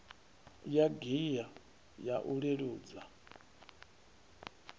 ya gear ya u leludza